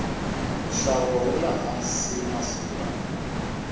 nxavo wule hansi masiku lawa